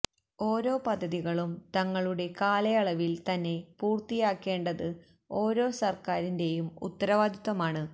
ഓരോ പദ്ധതികളും തങ്ങളുടെ കാലയളവില് തന്നെ പൂര്ത്തിയാക്കേണ്ടത് ഓരോ സര്ക്കാരിന്റെയും ഉത്തരവാദിത്വമാണ്